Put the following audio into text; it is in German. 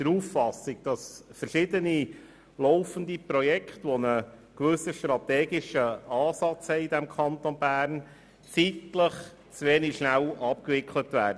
Die FiKo ist der Auffassung, dass verschiedene laufende Projekte, die einen gewissen strategischen Ansatz verfolgen, zeitlich zu wenig schnell abgewickelt werden.